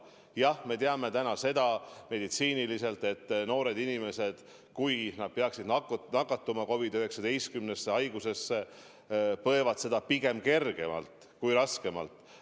Jah, me teame täna, et noored inimesed, kui nad peaksid nakatuma COVID-19 haigusesse, põevad seda pigem kergemalt kui raskemalt.